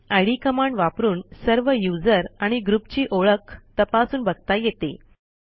इद command वापरून सर्व user आणि ग्रुपची ओळख तपासून बघता येते